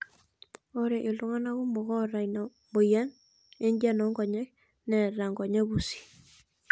Ore iltungana kumok oota ena moyian enjian oonkonyek neeta nkonyek pusi.